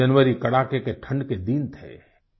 दिसम्बर जनवरी कड़ाके के ठण्ड के दिन थे